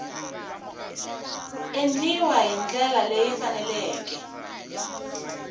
endliwa hi ndlela leyi faneleke